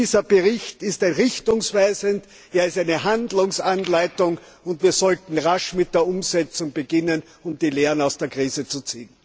Dieser Bericht ist richtungsweisend, er ist eine Handlungsanleitung, und wir sollten rasch mit der Umsetzung beginnen und die Lehren aus der Krise ziehen.